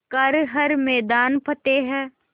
कर हर मैदान फ़तेह